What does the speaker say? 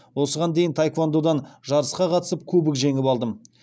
осыған дейін таеквондодан жарысқа қатысып кубок жеңіп алдым